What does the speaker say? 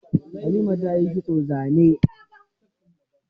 Halima ta yi kitson zane.